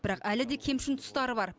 бірақ әлі де кемшін тұстары бар